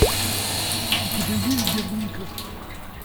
у тебя есть герника